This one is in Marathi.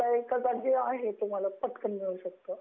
डेटा एका जागी आहे पटकन मिळू शकतो.